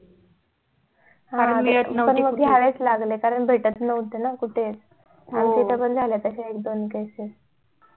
कारण घ्यायला च लागले कारण कुठे भेटत नव्हते ना कुठे आमच्या समोर पण झाले ताशे एक दोन cases